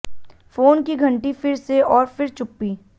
phone की घंटी फिर से और फिर चुप्पी